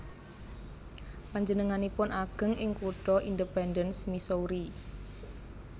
Panjenenganipun ageng ing kutha Independence Missouri